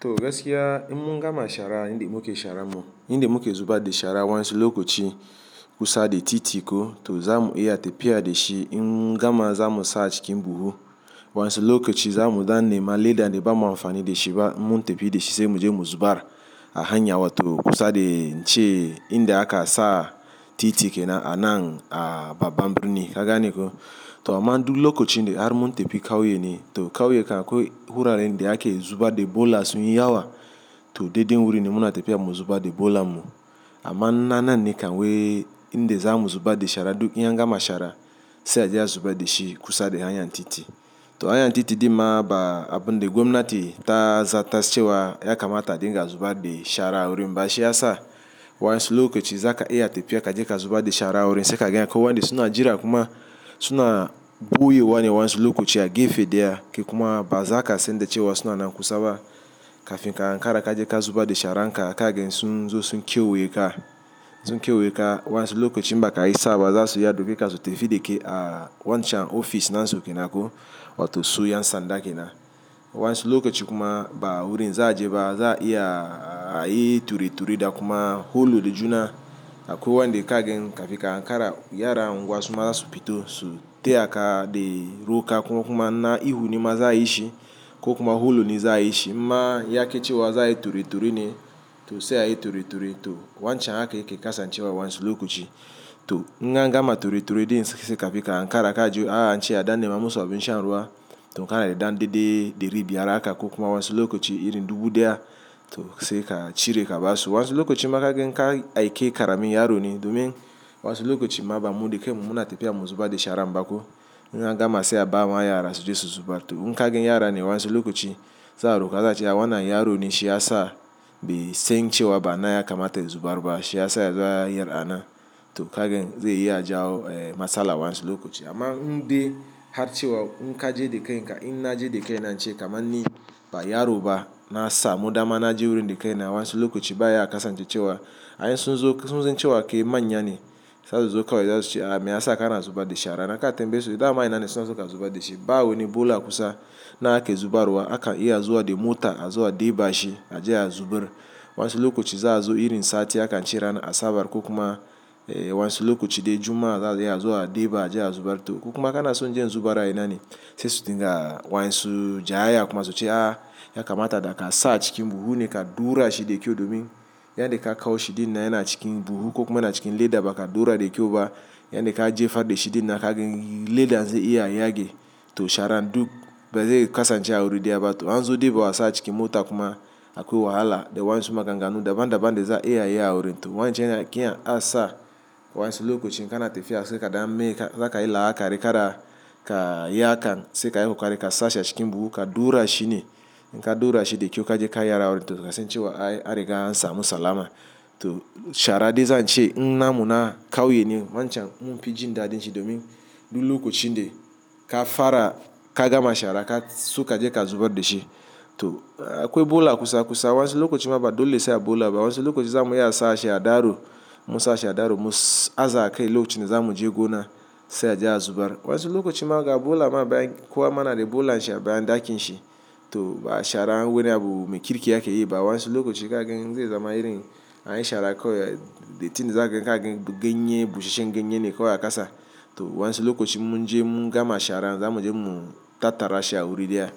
To gaskiiya, in mun gama shara inda muke sharan mu inda muke zuba da shara waensu lokaci kusa da titi ko to zamu iya tafiya da shi. Mun gama zamu sa cikin buhu. Waensu lokaci zamu dan nema leda da ba mu amfani da shi ba. In Mun tafi da shi sai muje mu zubar a hanya. Wato kusa da ce inda aka sa titi kenaan a nan babbar birni. Kagane ko? To aman duk lokacin har mun tafi kauye ne. To kauye kam akwai wuraren da ake zuba da bola sun yi yawa. To dai dai wurin muna tafi mu zuba da bolan mu. Amma na nan ne kam wai inda zamu zuba da shara duk in gama shara sai a je a zuba da shi kusa da hanyar titi. To hanyar titi din ma ba abun da gwamnati ta zata cewa ya kamata dinga zuba da shara wurin ba. Shi ya sa waensu lokaci za ka iya tafiya kaje ka zuba da shara wurin sai ka gan akwai wanɗe suna jira kuma suna ɓoyewane wansulokaci ya gefe da yake kuma ba za ka san da cewa suna nan kusa ba. Kafin ka kara ka zubar dan sharan kagan sun zo sun kyawai ka, sun kyawai ka waensu lokacin baka yi sa'a ba za su iya su dauke ka su tafiya da kai a wancan ofis nasu kenan ko wato su yansa ɗakin nan. Waensu lokacin kuma ba wurin za a je ba. Za a iya ayi ture-ture da kuma juna akwai wanɗi ka gan kafin ka ankara ya ra unguwa suma za su fito su taya ka roƙa kuma na ihu ni ma za a yi shi ko kuma hulu ne za a yi shi. In ma yake cewa za a yi tureture ne to sai a yi tureture. To wancan haka yake kasancewa wansulokaci. To in an gama tureture din sai kafin kafin ka ankara ka ji ana ce a dan nema musu abin shan ruwa. To ka yarda dede dari biyar haka ko kuma wansulokaci irin dubu daya to sai ka cire ka basu wansulokaci ma kagan in ka aike karamin yaro ne domin wansulokaci ma ba mu da kai mu muna tafiya mu zuba da sharan ba ko in an gama sai a bama yara su je su zubar to in ka gani yara ne wansulokaci za a roƙa za su cewa wannan yaro ne shi ya sa. Bai sai cewa ba na ya kamata zubar ba. Shi ya sa ya yara nan to ka gani zai yi ajau masala wansulokaci. Amma inde har cewa in kaje dika in na je dika na ce kamar ni ba yaro ba na sa muɗamana ji wurin dika nan wansulokaci ba ya kasance cewa ai in sunzo sun cewa ke manya ne. Za su zo kawai za su ce a me ya sa ka na zuba da shara naka a tambeso da ama ina ne suna suka zuba da shi. Ba wane bola kusa nan ake zubarwa aka iya zuwa da mota a zuwa ɗeba shi a je a zubar. Wansulokaci za a zo irin sati aka cire ana asabar ko kuma wansulokaci de juma'a za a iya zuwa ɗeba a je a zubar. To ko kuma kana son je zubarwa ina ne sai su dinga wansu ja ya kuma su ce a ya kamata da ka sa cikin buhu ne ka ɗaura shi da kyau domin yan da ka kawo shi din na yana cikin buhu ko kuma na cikin leda ba ka ɗaura da kyau ba. Yan da ka jefar da shi din naka gani ledan zai iya yage to sharan duk ba zai kasance a wuri daya ba. To an zo ɗeba wasa cikin mota kuma akwai wahala da wansu maganganu daban daban da za a iya yi a wurin. To wancan yake an sa wansulokaci kana tafiya sai ka dan meka, za ka yi la'ana ka riƙa da ka yi akan sai ka yi kokari ka sa shi a cikin buhu ka ɗaura shi ne. In ka ɗaura shi da kyau kaje ka yi a wurin to sai sun cewa ai aka samu salama. To shara de zan ce in na mun kauye ne wancan in fi jin daɗin shi domin duk lokacin de ka fara ka gama shara ka so kaje ka zubar da shi. To akwai bola kusa kusa wansulokaci ma ba dole sai a bola ba. Wansulokaci zamu iya sa shi a daro mu sa shi a daro mu aza kai lokacin da zamu je gona sai a je a zubar. Wansulokaci maka bola ma bayan kowa mana da bola shi a bayan ɗakin shi. To ba shara wane abu mai kirkiya ke yi ba wansulokaci ka gani zai zama irin an yi shara kawai. Dattin za ka gani ka gani ganye busasshen ganye ne kawai a kasa. To wansulokaci mun je mun gama shara zamuje mu tattara shi a wurin daya.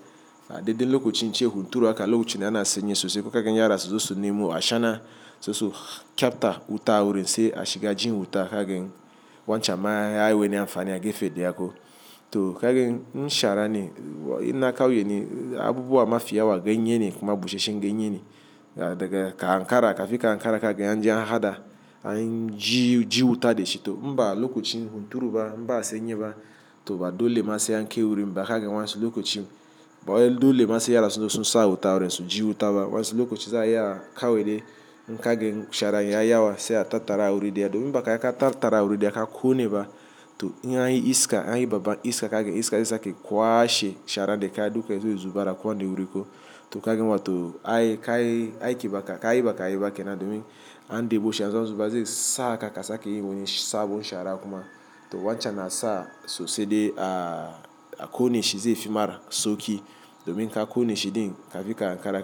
A daɗe lokacin ce hunturu aka lokacin yana sanye sosai kuka gani yara soson nemu ashana soson kyabta wuta wurin sai a shiga jin wuta ka gani wancan ma ai wane amfani yake fi da yake. To ka gani in shara ne ina kauye ne, abubuwa mafi yawa ganye ne kuma busasshen ganye ne daga ka ankara kafin ka ankara ka gani an je an haɗa an ji wuta da shi. To in ba lokacin hunturu ba in ba sanyi ba, to ba dole ma sai an kai wurin ba. Kagan wansulokacin ba wai dole ma sai yaran sunzo sun sa wuta a wurin su ji wuta Wansulokaci za a iya a kawai de in ka gani shara ya yawa sai a tattara a wurin diya domin maka ya ka tattara a wurin da ya ka ƙone ba to in an yi iska an yi babba iska ka gani iska zai sake kwashe shara de ka duka zai zo zubar kowani wurin ko. To ka gan wato ai ka yi ka yi bakai ka yi bakai nan domin an ɗebo shi an zo zuba zai saka ka sake yi wani sabon shara kuma. To wancan na sa sosai de a ƙone shi zai fi mara sauƙi domin ka ƙone shi din kafin ka ankara ka.